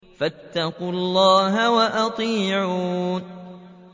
فَاتَّقُوا اللَّهَ وَأَطِيعُونِ